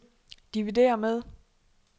dividér med